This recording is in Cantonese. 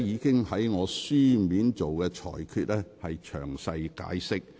我的書面裁決已作詳細解釋。